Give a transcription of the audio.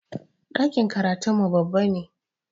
Ɗakin karatun mu babba ne